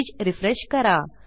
page refresh करा